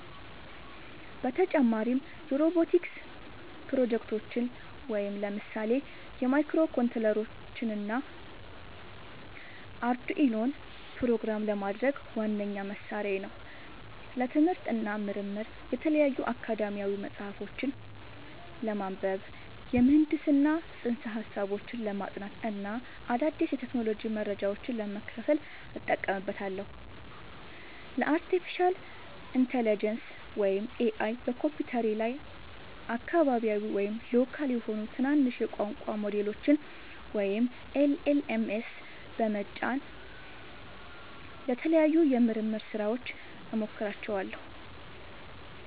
በተጨማሪም የሮቦቲክስ ፕሮጀክቶችን (ለምሳሌ ማይክሮኮንትሮለሮችንና አርዱኢኖን) ፕሮግራም ለማድረግ ዋነኛ መሣሪያዬ ነው። ለትምህርት እና ምርምር የተለያዩ አካዳሚያዊ ጽሑፎችን ለማንበብ፣ የምህንድስና ፅንሰ-ሀሳቦችን ለማጥናት እና አዳዲስ የቴክኖሎጂ መረጃዎችን ለመከታተል እጠቀምበታለሁ። ለአርቲፊሻል ኢንተለጀንስ (AI) በኮምፒውተሬ ላይ አካባቢያዊ (local) የሆኑ ትናንሽ የቋንቋ ሞዴሎችን (LLMs) በመጫን ለተለያዩ የምርምር ሥራዎች እሞክራቸዋለሁ።